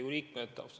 Head Riigikogu liikmed!